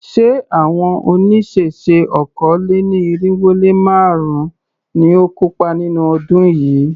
Ṣé àwọn oníṣẹ̀ṣe okòó-lé-ní-irínwó-lé-márùn-ún ni ó kópa nínú ọdún yìí?